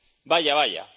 Vaya, vaya...,